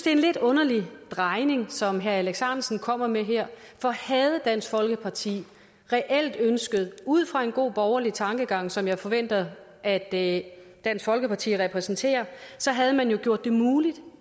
er en lidt underlig drejning som herre alex ahrendtsen kommer med her for havde dansk folkeparti reelt ønsket det ud fra en god borgerlig tankegang som jeg forventer at dansk folkeparti repræsenterer så havde man jo gjort det muligt